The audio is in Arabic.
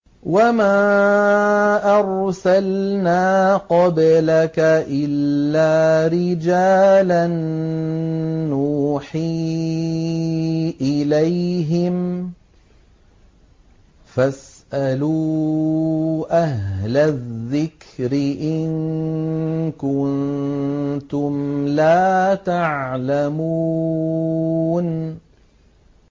وَمَا أَرْسَلْنَا قَبْلَكَ إِلَّا رِجَالًا نُّوحِي إِلَيْهِمْ ۖ فَاسْأَلُوا أَهْلَ الذِّكْرِ إِن كُنتُمْ لَا تَعْلَمُونَ